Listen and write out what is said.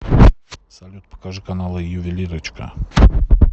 салют покажи каналы ювелирочка